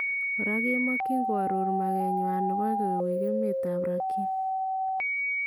Koraa kemakyin koaroor makeet nywan nebo koweek emeetab Rakhine